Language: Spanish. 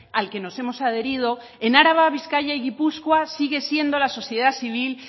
al que nos hemos adherido en araba vizcaya y guipúzcoa sigue siendo la sociedad civil